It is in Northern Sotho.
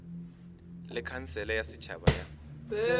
le khansele ya setšhaba ya